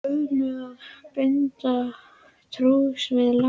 Ölmu að binda trúss við Lása.